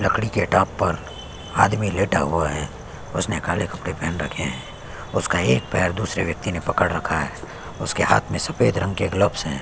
लकड़ी के टाप पर आदमी लेटा हुआ है उसने काले कपड़े पेहन रखे है उसका एक पैर दूसरे व्यक्ति ने पकड़ रखा है उसके हाथ में सफ़ेद रंग के ग्लव्‍स हैं।